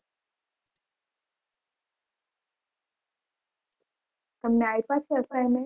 તમને આપીય છે assignment